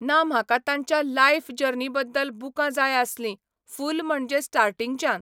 ना म्हाका तांच्या लाइफ जर्नी बद्दल बुकां जाय आसलीं फूल म्हणजे स्टार्टिंगच्यान.